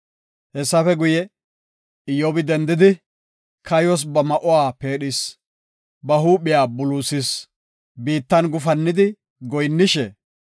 Hessafe guye, Iyyobi dendidi, kayos ba ma7uwa pheedhis; ba huuphiya buluusis; biittan gufannidi goyinnishe,